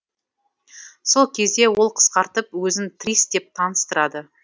сол кезде ол қысқартып өзін трис деп таныстырады